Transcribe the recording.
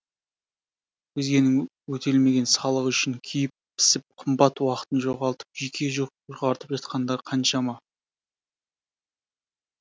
өзгенің өтелмеген салығы үшін күйіп пісіп қымбат уақытын жоғалтып жүйке жұқартып жатқандар қаншама